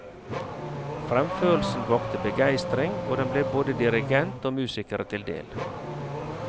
Fremførelsen vakte begeistring, og den ble både dirigent og musikere til del.